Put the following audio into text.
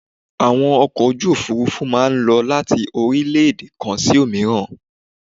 Àwọn ọkọ̀ ojú òfurufú má a ń lọ láti orílẹ́èdè kan sí òmíràn